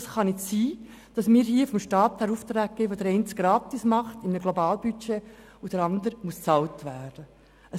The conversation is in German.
Es kann nicht sein, dass es in einem Globalbudget Staatsbeiträge für solche gibt, die ihre Leistungen gratis anbieten, und für die Leistungen der anderen bezahlt werden muss.